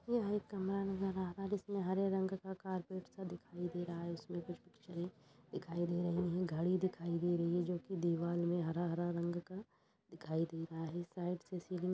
यह एक कमरा नजर आ रहा है इसमें हरे रंग का कारपेट सा दिखाई दे रहा है उसमें कुछ पिक्चरें दिखाई दे रही हैं घड़ी दिखाई दे रही है जोकि दीवाल में हरा-हरा रंग का दिखाई दे रहा है साइड से सीलिंग --